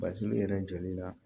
Basigi yɛrɛ joli la